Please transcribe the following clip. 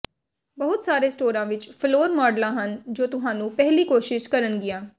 ਬਹੁਤ ਸਾਰੇ ਸਟੋਰਾਂ ਵਿੱਚ ਫਲੋਰ ਮਾਡਲਾਂ ਹਨ ਜੋ ਤੁਹਾਨੂੰ ਪਹਿਲੀ ਕੋਸ਼ਿਸ਼ ਕਰਨਗੀਆਂ